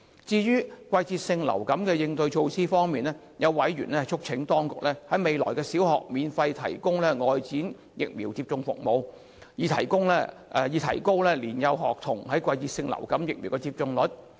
至於季節性流感的應對措施方面，有委員促請當局來年在小學免費提供外展疫苗接種服務，以提高年幼學童的季節性流感疫苗接種率。